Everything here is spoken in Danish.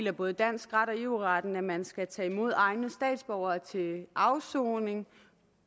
af både dansk ret og eu retten at man skal tage imod egne statsborgere til afsoning